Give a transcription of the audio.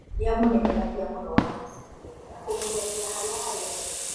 Nĩamũnegenagia mũno wabici-inĩ na kũmũnyarira harĩa harĩ andũ